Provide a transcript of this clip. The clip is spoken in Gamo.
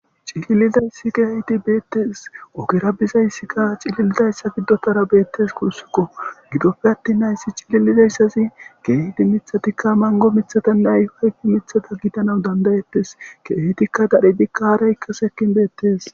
cililizayssi geehidi beettees ogira bizayssikka cililizayssa giddotara beettes kuussukko gidope attin nayssi cililizayssazi geehidi mithatikka mango mithatanneay ayfe mithata gitanaw dandayettes keehitikka dadhidikka aaraykka sekkin beettees